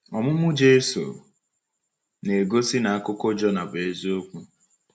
Ọmụmụ Jesu na-egosi na akụkọ Jọnà bụ eziokwu.